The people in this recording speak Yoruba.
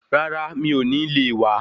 Rárá mi ò ní le wá.